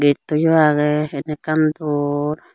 getto yo age en ekkan dor.